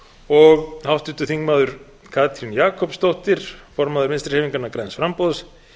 og háttvirtur þingmaður katrín jakobsdóttir formaður vinstri hreyfingarinnar græns framboðs